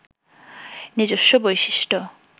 নিজস্ব বৈশিষ্ট্য